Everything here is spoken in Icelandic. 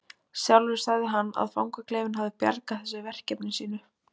Sjálfur sagði hann að fangaklefinn hefði bjargað þessu verkefni sínu.